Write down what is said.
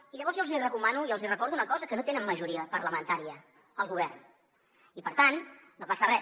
i llavors jo els recomano i els recordo una cosa que no tenen majoria parlamentària al govern i per tant no passa res